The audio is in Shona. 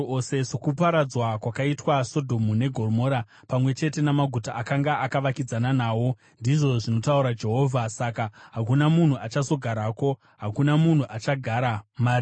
Sokuparadzwa kwakaitwa Sodhomu neGomora, pamwe chete namaguta akanga akavakidzana nawo,” ndizvo zvinotaura Jehovha, “saka hakuna munhu achazogarako; hakuna munhu achagara mariri.